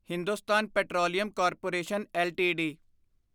Hindustan petroleum corporation LTD